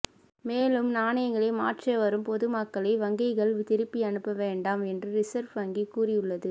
மேலும் நாணயங்களை மாற்ற வரும் பொதுமக்களை வங்கிகள் திருப்பி அனுப்ப வேண்டாம் என்றும் ரிசர்வ் வங்கி கூறியுள்ளது